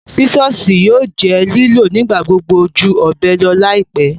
Sisọsi yóò jẹ́ liló nigbagbogbo jú ọbẹ lọ laipẹ.